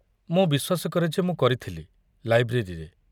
ମୁଁ ବିଶ୍ୱାସ କରେ ଯେ ମୁଁ କରିଥିଲି, ଲାଇବ୍ରେରୀରେ।